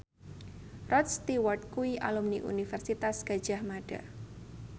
Rod Stewart kuwi alumni Universitas Gadjah Mada